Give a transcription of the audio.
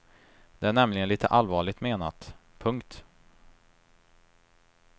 Det är nämligen litet allvarligt menat. punkt